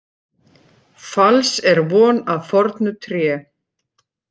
Falls er von af fornu tré.